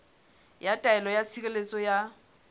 ya taelo ya tshireletso ya